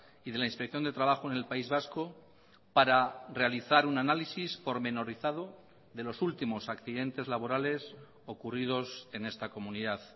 y de la inspección de trabajo en el país vasco para realizar un análisis pormenorizado de los últimos accidentes laborales ocurridos en esta comunidad